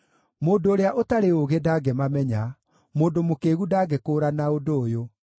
Mũndũ ũrĩa ũtarĩ ũũgĩ ndangĩmamenya, mũndũ mũkĩĩgu ndangĩkũũrana ũndũ ũyũ,